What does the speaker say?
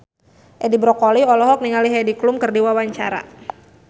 Edi Brokoli olohok ningali Heidi Klum keur diwawancara